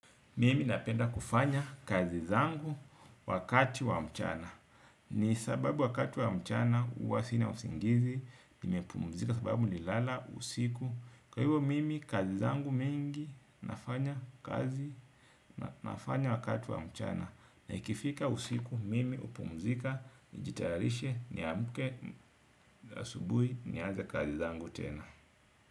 Mimi napenda kufanya kazi zangu wakati wa mchana. Ni sababu wakati wa mchana huwa sina usingizi, nimepumzika sababu nilala, usiku. Kwa hivyo, mimi kazi zangu mingi nafanya kazi nafanya wakati wa mchana. Na ikifika usiku, mimi hupumzika, nijitayarishe, niamke, asubuhi, nianze kazi zangu tena.